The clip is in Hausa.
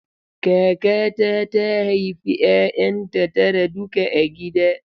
Kakata ta haifi 'ya'yanta tara duka a gida.